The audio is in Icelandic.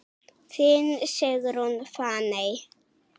Þín Sigrún Fanney.